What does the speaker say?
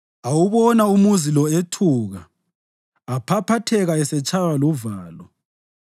awubona umuzi lo ethuka aphaphatheka esetshaywa luvalo.